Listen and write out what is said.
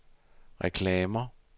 reklamer